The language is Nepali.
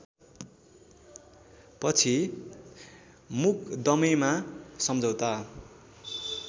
पछि मुकदमेमा सम्झौता